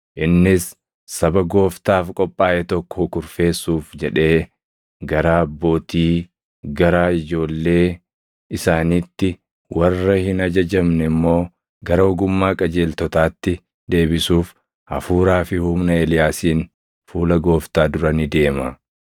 Innis saba Gooftaaf qophaaʼe tokko kurfeessuuf jedhee garaa abbootii gara ijoollee isaaniitti, warra hin ajajamne immoo gara ogummaa qajeeltotaatti deebisuuf hafuuraa fi humna Eeliyaasiin fuula Gooftaa dura ni deema.”